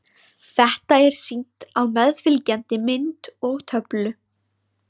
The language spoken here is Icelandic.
Þetta er sýnt á meðfylgjandi mynd og töflu.